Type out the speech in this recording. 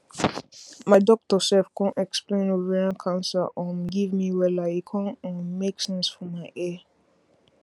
my doctor sef con explain ovarian cancer um give me wella e con um make sense for my ear